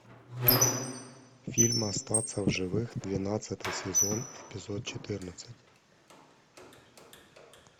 фильм остаться в живых двенадцатый сезон эпизод четырнадцать